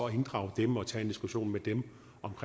inddrage dem og tage en diskussion med dem